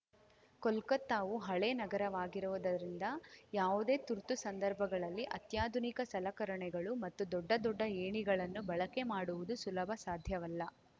ಕೋಲ್ಕತ್ತಾವು ಹಳೇ ನಗರವಾಗಿರುವುದರಿಂದ ಯಾವುದೇ ತುರ್ತು ಸಂದರ್ಭಗಳಲ್ಲಿ ಅತ್ಯಾಧುನಿಕ ಸಲಕರಣೆಗಳು ಮತ್ತು ದೊಡ್ಡ ದೊಡ್ಡ ಏಣಿಗಳನ್ನು ಬಳಕೆ ಮಾಡುವುದು ಸುಲಭ ಸಾಧ್ಯವಲ್ಲ